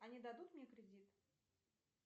они дадут мне кредит